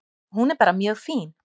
Hún er bara mjög fín.